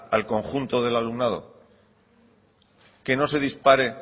al conjunto del alumnado que no se dispare